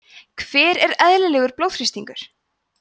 hver er eðlilegur blóðþrýstingur